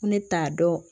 Ko ne t'a dɔn